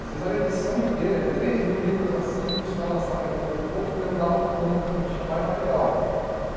Às vezes era edição inteira, de três mil livros assim, que os caras lançavam de pouco em pouco, porque não dava conta, não tinha mais material.